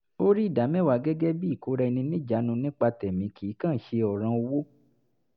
ó rí ìdámẹ́wàá gẹ́gẹ́ bì i ìkóra ẹni níjanu nípa tẹ̀mí kì í kàn án ṣe ọ̀ràn owó